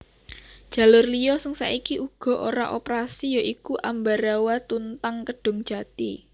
Jalur liya sing saiki uga ora operasi ya iku Ambarawa Tuntang Kedungjati